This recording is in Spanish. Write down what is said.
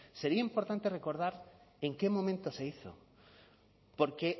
sería importante recordar en qué momento se hizo porque